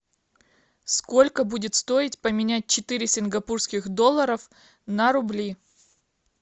сколько будет стоить поменять четыре сингапурских долларов на рубли